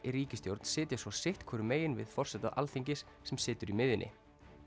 í ríkisstjórn sitja svo sitt hvorum megin við forseta Alþingis sem situr í miðjunni